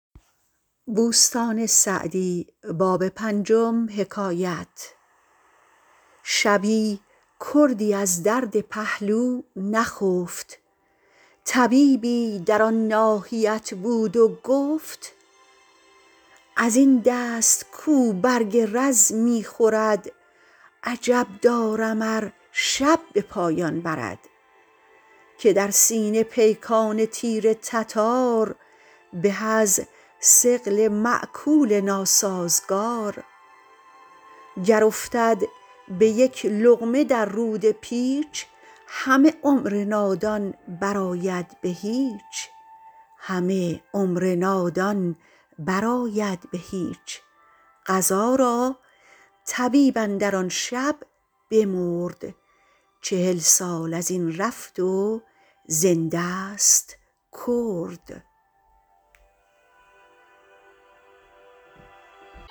شبی کردی از درد پهلو نخفت طبیبی در آن ناحیت بود و گفت از این دست کاو برگ رز می خورد عجب دارم ار شب به پایان برد که در سینه پیکان تیر تتار به از ثقل مأکول ناسازگار گر افتد به یک لقمه در روده پیچ همه عمر نادان بر آید به هیچ قضا را طبیب اندر آن شب بمرد چهل سال از این رفت و زنده ست کرد